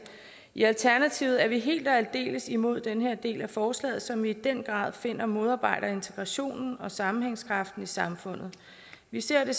i alternativet er vi helt og aldeles imod den her del af forslaget som vi i den grad finder modarbejder integrationen og sammenhængskraften i samfundet vi ser det